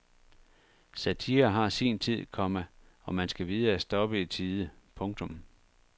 Satire har sin tid, komma og man skal vide at stoppe i tide. punktum